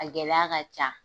A gɛlɛya ka ca